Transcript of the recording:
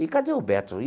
E cadê o Beto?